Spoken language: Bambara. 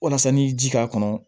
Walasa n'i ye ji k'a kɔnɔ